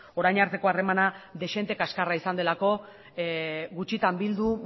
orain arteko harremana dezente kaxkarra izan delako gutxitan bildu